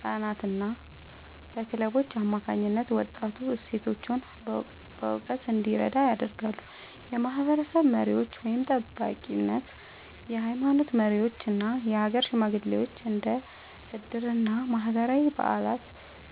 ቀናትና በክለቦች አማካኝነት ወጣቱ እሴቶቹን በእውቀት እንዲረዳ ያደርጋሉ። የማህበረሰብ መሪዎች (ጠባቂነት)፦ የሃይማኖት መሪዎችና የሀገር ሽማግሌዎች እንደ ዕድርና ማህበራዊ በዓላት